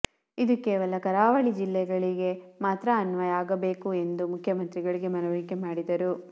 ಇದು ಕೇವಲ ಕರಾವಳಿಗೆ ಜಿಲ್ಲೆಗಳಿಗೆ ಮಾತ್ರ ಅನ್ವಯ ಆಗಬೇಕು ಎಂದು ಮುಖ್ಯಮಂತ್ರಿಗಳಿಗೆ ಮನವರಿಕೆ ಮಾಡಿದರು